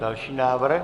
Další návrh.